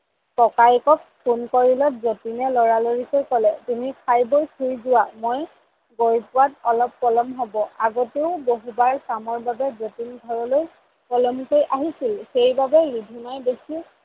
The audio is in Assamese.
ককায়েকক phone কৰিলত জতিনে লৰা লৰিকৈ কলে তুমি খাই বৈ শুই যোৱা মোৰ গৈ পোৱাত অলপ পলম হব। আগতেও কামৰ বাবে জতিন ঘৰলৈ পলমকৈ আহিছিল সেইবাবেই ৰিধিমাই বেচি